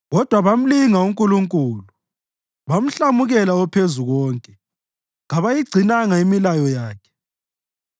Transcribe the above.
Kodwa bamlinga uNkulunkulu, bamhlamukela oPhezukonke; kabayigcinanga imilayo yakhe.